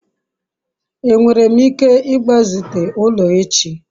enwere m ike igbazite ulo echi?